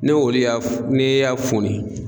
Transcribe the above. Ne olu y'a ne y'a foni